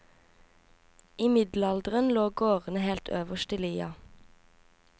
I middelalderen lå gårdene helt øverst i lia.